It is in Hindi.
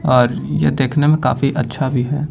और ये देखने में काफी अच्छा भी है।